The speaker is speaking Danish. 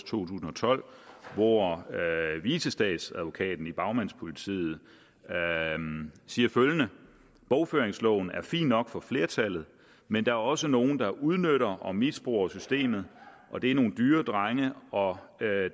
tusind og tolv hvor vicestatsadvokaten i bagmandspolitiet siger følgende bogføringsloven er fin nok for flertallet men der er også nogle der udnytter og misbruger systemet og det er nogle dyre drenge og